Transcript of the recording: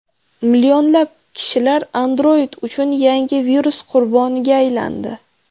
Millionlab kishilar Android uchun yangi virus qurboniga aylandi.